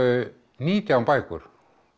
nítján bækur